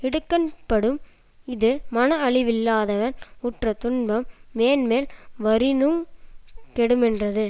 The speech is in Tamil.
இடுக்கண்படும் இது மனஅழிவில்லாதவன் உற்றதுன்பம் மேன்மேல் வரினுங் கெடுமென்றது